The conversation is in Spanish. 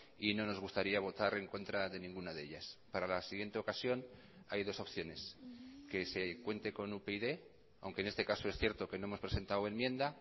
y no nos gustaría votar en contra de ninguna de ellas para la siguiente ocasión hay dos opciones que se cuente con upyd aunque en este caso es cierto que no hemos presentado enmienda